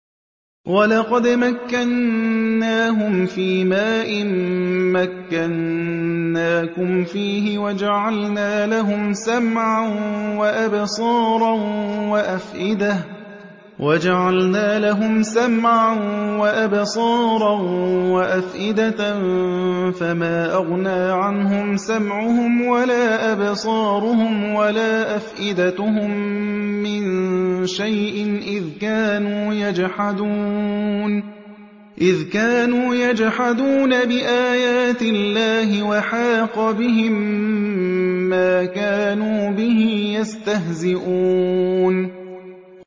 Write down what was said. وَلَقَدْ مَكَّنَّاهُمْ فِيمَا إِن مَّكَّنَّاكُمْ فِيهِ وَجَعَلْنَا لَهُمْ سَمْعًا وَأَبْصَارًا وَأَفْئِدَةً فَمَا أَغْنَىٰ عَنْهُمْ سَمْعُهُمْ وَلَا أَبْصَارُهُمْ وَلَا أَفْئِدَتُهُم مِّن شَيْءٍ إِذْ كَانُوا يَجْحَدُونَ بِآيَاتِ اللَّهِ وَحَاقَ بِهِم مَّا كَانُوا بِهِ يَسْتَهْزِئُونَ